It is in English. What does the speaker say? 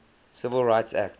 civil rights act